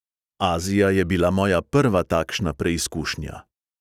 Azija je bila moja prva takšna preizkušnja.